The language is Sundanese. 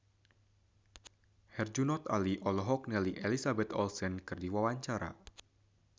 Herjunot Ali olohok ningali Elizabeth Olsen keur diwawancara